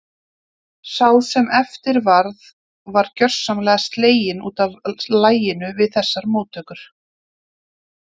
Sá sem eftir varð var gjörsamlega sleginn út af laginu við þessar móttökur.